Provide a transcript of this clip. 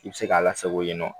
I bɛ se k'a lasako yen nɔ